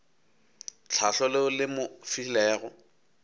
tlhahlo leo le mo filego